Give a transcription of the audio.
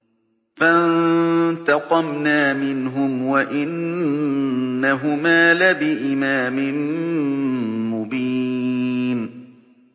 فَانتَقَمْنَا مِنْهُمْ وَإِنَّهُمَا لَبِإِمَامٍ مُّبِينٍ